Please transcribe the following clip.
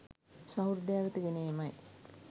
සහෘදයා වෙත ගෙන ඒමයි